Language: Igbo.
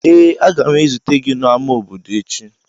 Ee, a ga m ezute gị n'ámá obodo echi.